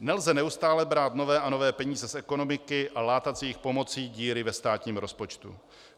Nelze neustále brát nové a nové peníze z ekonomiky a látat s jejich pomocí díry ve státním rozpočtu.